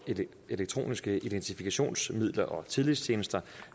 elektroniske identifikationsmidler og tillidstjenester